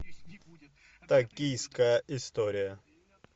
токийская история